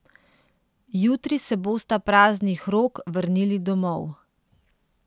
Jutri se bosta praznih rok vrnili domov.